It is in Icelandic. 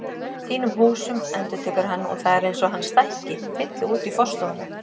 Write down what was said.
Þínum húsum endurtekur hann og það er eins og hann stækki, fylli út í forstofuna.